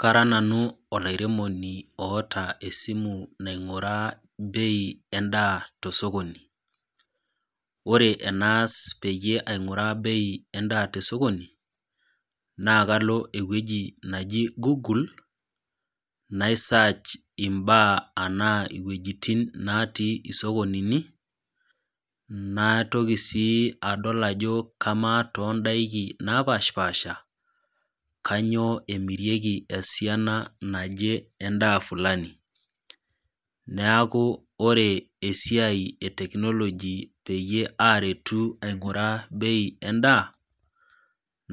Kara nanu olairemoni oata esimu ning'uraa bei endaa te sokoni. Ore enaas peyie aing'uraa bei endaa te sokoni, naa kalo ewueji naji Google, naisach imbaa anaa iwueitin natii isokonini, naitoki sii adol ajo kamaa too indaiki napaashpaasha kainyoo emirieki esiana naje endaa fulani, neaku ore esiai e teknoloji enaiko pee aretu aing'uraa bei endaa